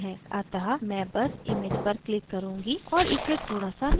अतः मैं बस image पर click करुँगी और इसे थोड़ा so नीचे खींचूँगी